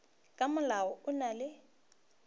ka molao o na le